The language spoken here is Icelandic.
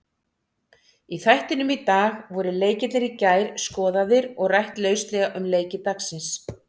Í þættinum í dag voru leikirnir í gær skoðaðir og rætt lauslega um leiki dagsins.